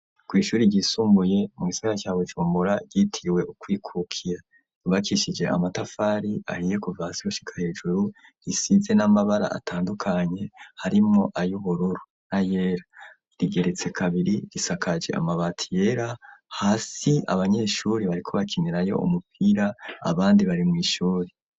Kw'ishuri ryisumbuye mugisagara ca bujumbura ryitiriwe ukwikukira ryubakishije amatafari ahiye kuva hasi gushika hejuru risize n'amabara atandukanye harimwo ayubururu na yera rigeretse kabiri risakaje amabati yera hasi abanyeshuri bariko bakinirayo umupira abandi bari mw'ishuri.